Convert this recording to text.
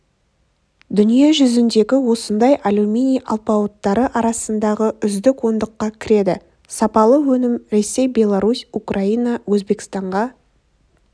дүние жүзіндегі осындай алюминий алпауыттары арасындағы үздік ондыққа кіреді сапалы өнім ресей беларусь украина өзбекстанға